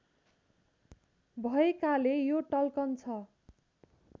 भएकाले यो टल्कन्छ